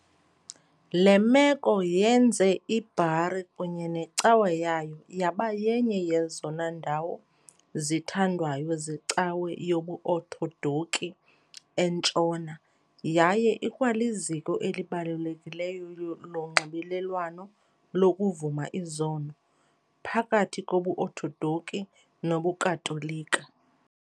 Le meko yenze iBari kunye necawa yayo yaba yenye yezona ndawo zithandwayo zeCawa yobuOthodoki eNtshona yaye ikwaliziko elibalulekileyo lonxibelelwano lokuvuma izono phakathi kobuOthodoki nobuKatolika.